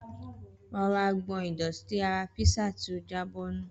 Rọra gbọn ìdọ̀tí ara písà tí ó jábọ́ nù.